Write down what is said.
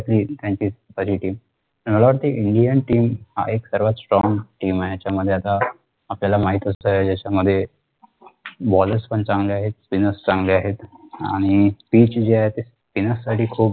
त्याचीच पहिली team मला वाटतंय indian team एक सर्वात strong team आहे ह्याच्या मध्ये आता आपल्याला असतंय यांच्यामध्ये bowlers पण चांगले आहेत spinner चांगले आहेत आणि तेच जे आहे ते spinner